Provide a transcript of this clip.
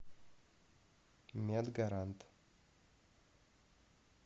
медгарант